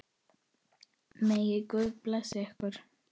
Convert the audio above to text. Megi Guð blessa ykkur.